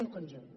un conjunt